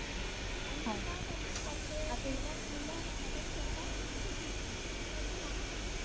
आणखीन काय करतेस? मुलं मदत करतात की नाही तुझी? की अजून लहान आहेत?